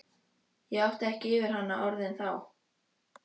Ég átti ekki yfir hana orðin þá.